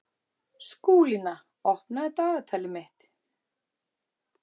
Skúlína, opnaðu dagatalið mitt.